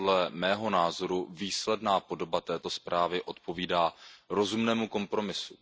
Podle mého názoru výsledná podoba této zprávy odpovídá rozumnému kompromisu.